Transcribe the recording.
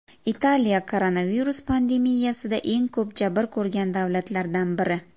Italiya koronavirus pandemiyasida eng ko‘p jabr ko‘rgan davlatlardan biri.